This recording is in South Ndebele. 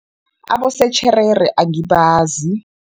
Abosetjherere angibazi.